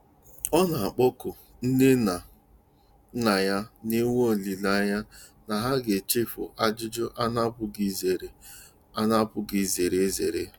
Ọ na-akpọku Nne na Nna ya, na-enwe olileanya na ha ga-echefu ajụjụ a na-apụghị izere a na-apụghị izere ezere.